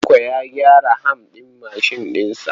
Tanko ya gyara ham ɗin mashin ɗin sa.